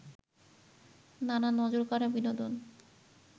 নানা নজরকাড়া বিনোদন